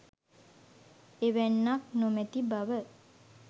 එවැන්නක් නොමැති බව